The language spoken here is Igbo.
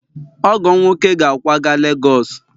ọgọ m nwoke ga-akwaga Lagos